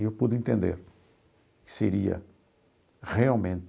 E eu pude entender que seria realmente